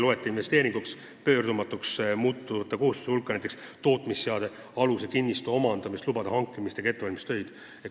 Seejuures ei loeta selliste kohustuste hulka näiteks tootmisseadmealuse kinnistu omandamist, lubade hankimist ega ettevalmistustöid.